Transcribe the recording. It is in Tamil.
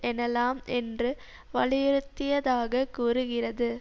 எனலாம் என்று வலியுறுத்தியதாக கூறுகிறது